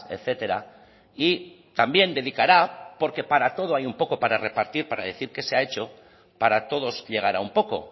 etcétera y también dedicará porque para todo hay un poco para repartir para decir que se ha hecho para todos llegará un poco